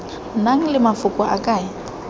nang le mafoko a e